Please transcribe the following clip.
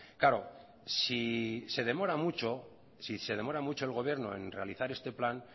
claro si se demora mucho si se demora mucho el gobierno en realizar este plan